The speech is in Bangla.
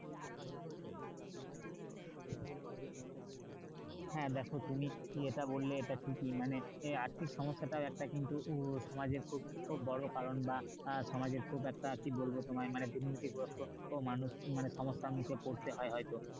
হ্যাঁ দেখো তুমি এটা বললে এটা কিন্তু ঠিক মানে আর্থিক সমস্যাটাও একটা কিন্তু সমাজের খুব খুব বড় কারণ বা আহ সমাজের খুব একটা মানে কি বলবো তোমায় মানে দরিদ্র গ্রস্থ মানুষ মানে সমস্যার মুখে পড়তে হয় হয়তো